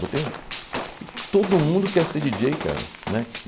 Botei um... todo mundo quer ser Di dJjei, cara, né?